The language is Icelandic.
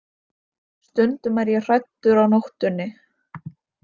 Stundum er ég hræddur á nóttunni.